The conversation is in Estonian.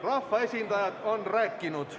Rahvaesindajad on rääkinud.